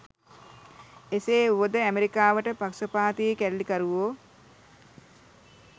එසේ වුවද ඇමරිකාවට පක්ෂපාති කැරලිකරුවෝ